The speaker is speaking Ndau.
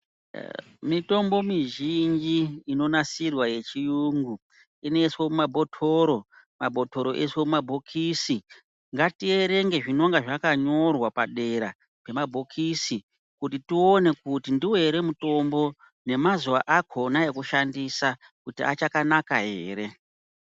Mitombo mizhinji inonasirwa yechiyungu, inoyiswe mumabhothoro. Mabhotoro oyiswe mumabhokisi. Ngatiyerenge zvinonga zvakanyorwa padera zvemabhokisi kuti tiwone kuti ndiwo here mutombo nemazuwa akhona ekushandisa kuti achakanaka here.